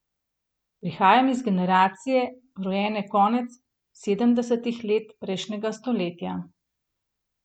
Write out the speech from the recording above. Prihajam iz generacije, rojene konec sedemdesetih let prejšnjega stoletja.